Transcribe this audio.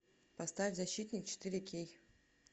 поставь защитник четыре кей